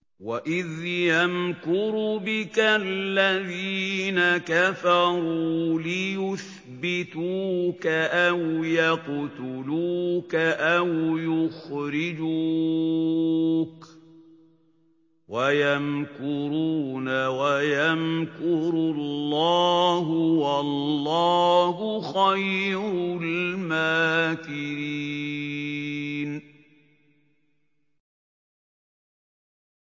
وَإِذْ يَمْكُرُ بِكَ الَّذِينَ كَفَرُوا لِيُثْبِتُوكَ أَوْ يَقْتُلُوكَ أَوْ يُخْرِجُوكَ ۚ وَيَمْكُرُونَ وَيَمْكُرُ اللَّهُ ۖ وَاللَّهُ خَيْرُ الْمَاكِرِينَ